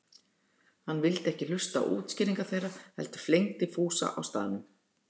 Hann vildi ekki hlusta á útskýringar þeirra heldur flengdi Fúsa á staðnum.